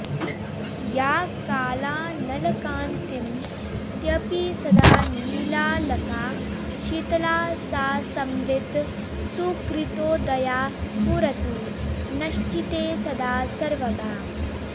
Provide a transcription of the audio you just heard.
या कालानलकान्तिमत्यपि सदा नीलालका शीतला सा संवित् सुकृतोदया स्फुरतु नश्चित्ते सदा सर्वगा